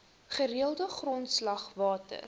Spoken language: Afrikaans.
gereelde grondslag water